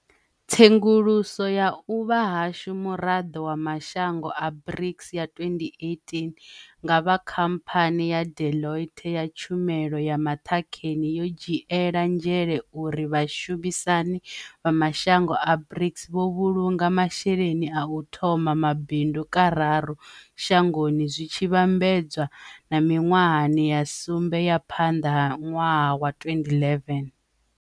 Tsenguluso ya u vha hashu muraḓo wa mashango a BRICS ya 2018 nga vha khamphani ya Deloitte ya tshumelo ya maṱhakheni yo dzhiela nzhele uri vhashumi sani vha mashango a BRICS vho vhulunga masheleni a u thoma mabindu kararu shangoni zwi tshi vhambe dzwa na miṅwahani ya sumbe ya phanḓa ha ṅwaha wa 2011.